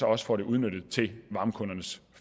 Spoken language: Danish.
også få det udnyttet til varmekundernes